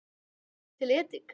Búðu til edik